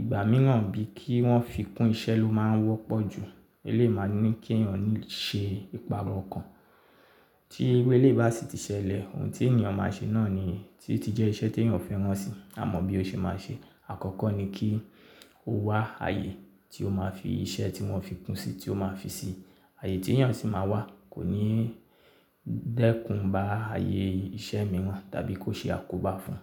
ìgbà mìíràn bí kí wọ́n fi kún iṣẹ́ ló máa ń wọ́pọ̀ jù. Eleyii máa ní kí èèyàn ní ṣe ìpàrọ̀ ọkàn. Tí iru eleyii bá sì ti ṣẹlẹ̀, ohun tí èèyàn máa ṣe náà ni tí ti jẹ́ iṣẹ́ tí èèyàn fẹ́ràn si, a mọ bí ó ṣe máa ṣe. Àkọ́kọ́ ni kí ó wá àyè tí ó máa fi iṣẹ́ tí wọ́n fi kún sí tí ó máa fi ṣi. Àyè tí èèyàn sì máa wà kò ní dẹ́kun bá àyè iṣẹ́ mìíràn tàbí kó ṣe àkóbá fún un.